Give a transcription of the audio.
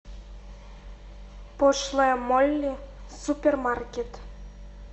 пошлая молли супермаркет